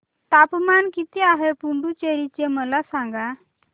तापमान किती आहे पुडुचेरी चे मला सांगा